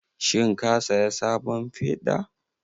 Shin ka saya sabon feda?